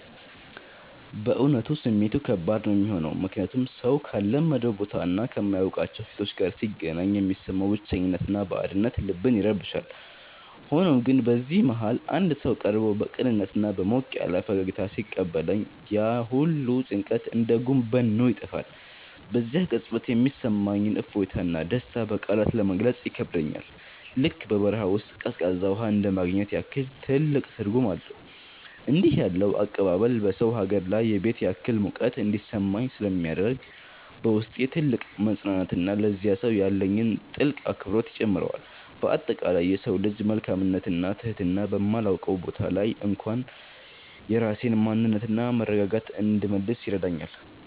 በእውነቱ ስሜቱ ከባድ ነው የሚሆነው፤ ምክንያቱም ሰው ካልለመደው ቦታና ከማያውቃቸው ፊቶች ጋር ሲገናኝ የሚሰማው ብቸኝነትና ባዕድነት ልብን ይረብሻል። ሆኖም ግን በዚህ መሃል አንድ ሰው ቀርቦ በቅንነትና በሞቅ ያለ ፈገግታ ሲቀበለኝ፣ ያ ሁሉ ጭንቀት እንደ ጉም በኖ ይጠፋል። በዚያ ቅጽበት የሚሰማኝ እፎይታና ደስታ በቃላት ለመግለጽ ይከብዳል፤ ልክ በበረሃ ውስጥ ቀዝቃዛ ውሃ እንደማግኘት ያህል ትልቅ ትርጉም አለው። እንዲህ ያለው አቀባበል በሰው ሀገር ላይ የቤት ያህል ሙቀት እንዲሰማኝ ስለሚያደርግ፣ በውስጤ ትልቅ መፅናናትንና ለዚያ ሰው ያለኝን ጥልቅ አክብሮት ይጨምረዋል። በአጠቃላይ የሰው ልጅ መልካምነትና ትህትና በማላውቀው ቦታ ላይ እንኳን የራሴን ማንነትና መረጋጋት እንድመልስ ይረዳኛል።